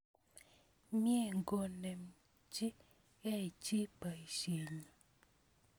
Mie ngonemchi kei chi poisyenyi